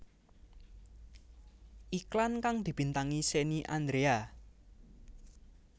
Iklan kang dibintangi Shenny Andrea